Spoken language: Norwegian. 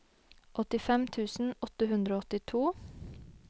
åttifem tusen åtte hundre og åttito